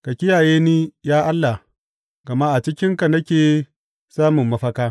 Ka kiyaye ni, ya Allah, gama a cikinka nake samun mafaka.